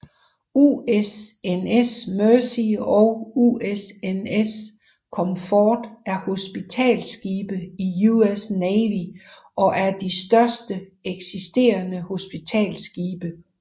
USNS Mercy og USNS Comfort er hospitalsskibe i US Navy og er de største eksisterende hospitalsskibe